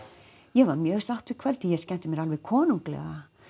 ég var mjög sátt við kvöldið ég skemmti mér alveg konunglega